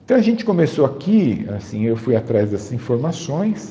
Então a gente começou aqui, assim, eu fui atrás dessas informações,